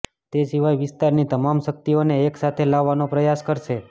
તે સિવાય વિસ્તારની તમામ શક્તિઓને એક સાથે લાવવાનો પ્રયાસ કરશે